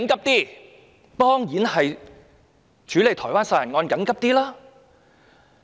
當然是處理台灣殺人案較為緊急。